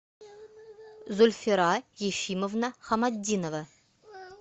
зульфира ефимовна хаматдинова